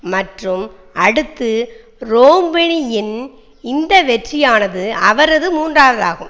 மற்றும் அடுத்து ரோம்னியின் இந்த வெற்றியானது அவரது மூன்றாவதாகும்